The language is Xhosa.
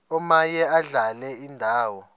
omaye adlale indawo